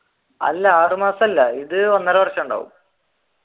അല്ല ആറു മാസമല്ല ഇത് ഒന്നര വര്ഷമുണ്ടാവും.